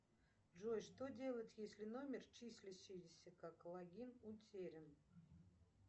джой что делать если номер числящийся как логин утерян